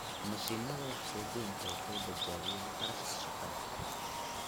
Mashiinnada wax soo goynta waxay badbaadiyaan kharashka shaqada.